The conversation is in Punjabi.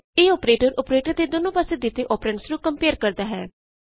ਇਹ ਅੋਪਰੇਟਰ ਅੋਪਰੇਟਰ ਦੇ ਦੋਨੋ ਪਾਸੇ ਤੇ ਦਿੱਤੇ ਅੋਪਰੈਂਡਸ ਨੂੰ ਕੰਪਏਅਰ ਕਰਦਾ ਹੈ